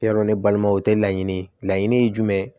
Yarɔ ne balimaw o tɛ laɲini ye laɲini ye jumɛn ye